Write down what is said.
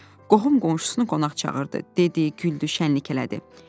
Qohum-qonşusunu qonaq çağırdı, dedi, güldü, şənlilik elədi.